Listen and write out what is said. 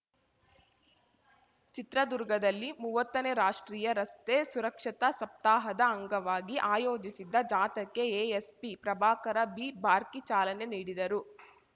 ಚಿತ್ರದುರ್ಗದಲ್ಲಿ ಮುವತ್ತನೇ ರಾಷ್ಟ್ರೀಯ ರಸ್ತೆ ಸುರಕ್ಷತಾ ಸಪ್ತಾಹದ ಅಂಗವಾಗಿ ಆಯೋಜಿಸಿದ್ದ ಜಾಥಾಕ್ಕೆ ಎಎಸ್ಪಿ ಪ್ರಭಾಕರ ಬಿಬಾರ್ಕಿ ಚಾಲನೆ ನೀಡಿದರು